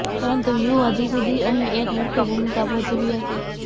પરંતુ વ્યૂહ હજી સુધી અહીં એક મુખ્ય ભૂમિકા ભજવી હતી